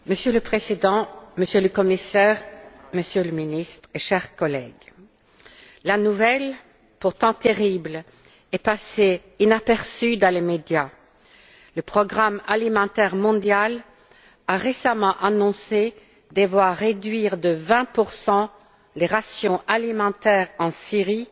Madame la Présidente, Monsieur le Commissaire, Monsieur le Ministre et chers collègues, la nouvelle, pourtant terrible, est passée inaperçue dans les médias le Programme alimentaire mondial a récemment annoncé devoir réduire de 20 les rations alimentaires en Syrie